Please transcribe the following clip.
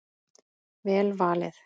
Vel valið.